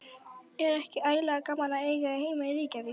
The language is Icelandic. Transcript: Er ekki ægilega gaman að eiga heima í Reykjavík?